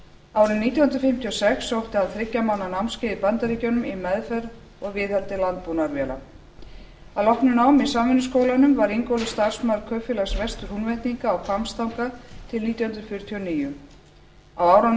árið nítján hundruð fimmtíu og sex sótti hann þriggja mánaða námskeið í bandaríkjunum í meðferð og viðhaldi landbúnaðarvéla að loknu námi í samvinnuskólanum var ingólfur starfsmaður kaupfélags vestur húnvetninga á hvammstanga til nítján hundruð fjörutíu og níu á árunum